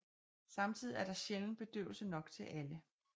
Samtidig er der sjældent bedøvelse nok til alle